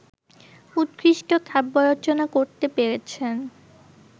উৎকৃষ্ট কাব্যরচনা করতে পেরেছেন